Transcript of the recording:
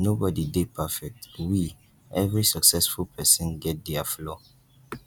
nobody dey perfect we every successful person get their flaw